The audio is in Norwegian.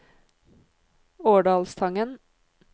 Årdalstangen